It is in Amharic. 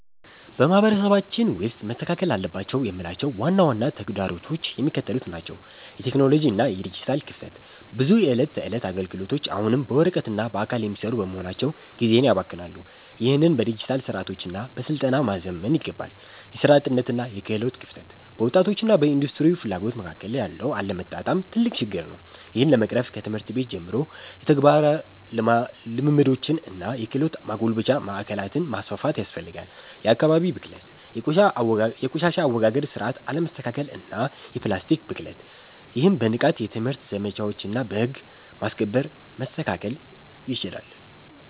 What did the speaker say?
በማህበረሰባችን ውስጥ መስተካከል አለባቸው የምላቸው ዋና ዋና ተግዳሮቶች የሚከተሉት ናቸው የቴክኖሎጂ እና የዲጂታል ክፍተት፦ ብዙ የዕለት ተዕለት አገልግሎቶች አሁንም በወረቀትና በአካል የሚሰሩ በመሆናቸው ጊዜን ያባክናሉ። ይህንን በዲጂታል ስርዓቶችና በስልጠና ማዘመን ይገባል። የሥራ አጥነትና የክህሎት ክፍተት፦ በወጣቶችና በኢንዱስትሪው ፍላጎት መካከል ያለው አለመጣጣም ትልቅ ችግር ነው። ይህን ለመቅረፍ ከትምህርት ቤት ጀምሮ የተግባር ልምምዶችንና የክህሎት ማጎልበቻ ማዕከላትን ማስፋፋት ያስፈልጋል። የአካባቢ ብክለት፦ የቆሻሻ አወጋገድ ስርዓት አለመስተካከልና የፕላስቲክ ብክለት። ይህም በንቃት የትምህርት ዘመቻዎችና በህግ ማስከበር መስተካከል ይችላል።